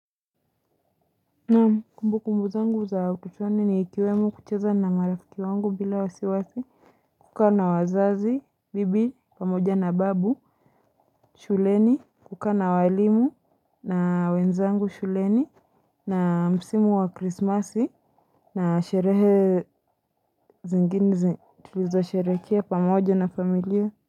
Ni kumbukumbu zangu za utotoni ni ikiwemo kucheza na marafiki wangu bila wasiwasi. Kukaa na wazazi, bibi, pamoja na babu, shuleni, kukaa na walimu, na wenzangu shuleni, na msimu wa krismasi, na sherehe zingine tulizosherekea pamoja na familia.